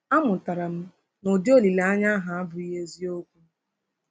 Amụtara m na ụdị olileanya ahụ abụghị eziokwu.